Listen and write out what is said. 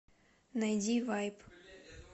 найди вайб